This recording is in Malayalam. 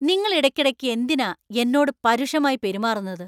നിങ്ങൾ ഇടയ്ക്കിടയ്ക്ക് എന്തിനാ എന്നോട് പരുഷമായി പെരുമാറുന്നത്?